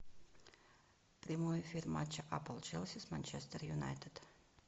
прямой эфир матча апл челси с манчестер юнайтед